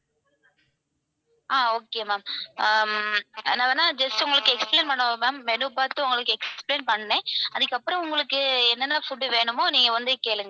ஆஹ் okay ma'am hmm நான் வேணும்னா just உங்களுக்கு explain பண்ணவா ma'am menu பாத்து explain பண்றேன், அதுக்கப்புறம் உங்களுக்கு என்னென்ன food வேணுமோ நீங்க வந்து கேளுங்க.